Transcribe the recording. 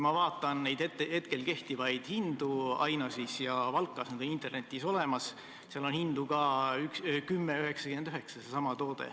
Ma vaatasin hetkel kehtivaid hindu Ainažis ja Valkas – need on internetis olemas –, seal on sellesama kohvri hinnaks märgitud 10.99.